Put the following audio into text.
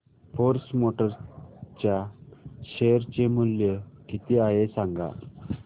force Motors च्या share चे मूल्य किती आहे सांगा